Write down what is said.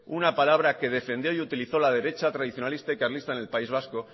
una palabra que defendió y utilizó la derecha tradicionalista y carlista en el país vasco